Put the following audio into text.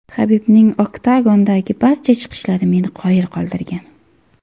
Habibning oktagondagi barcha chiqishlari meni qoyil qoldirgan.